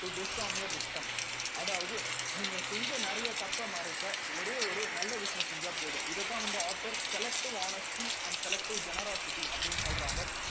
to your victim அதாவது நீங்க செஞ்ச நிறைய தப்பை மறைக்க ஒரே ஒரு நல்ல விஷயம் செஞ்சா போதும் இதைத்தான் வந்து author selective honesty and selective generosity அப்படின்னு சொல்றாங்க